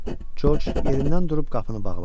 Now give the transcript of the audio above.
Corc yerindən durub qapını bağladı.